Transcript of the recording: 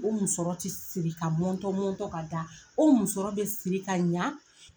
O musɔrɔ te siri k'a mɔntɔn mɔntɔn k'a da o musɔrɔ be siri ka ɲaa